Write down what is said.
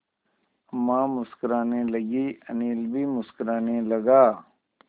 अम्मा मुस्कराने लगीं अनिल भी मुस्कराने लगा